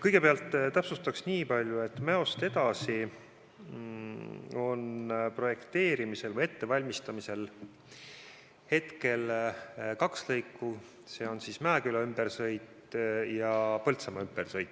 Kõigepealt täpsustan nii palju, et Mäost edasi on projekteerimisel või ettevalmistamisel kaks lõiku: need on Mäeküla ümbersõit ja Põltsamaa ümbersõit.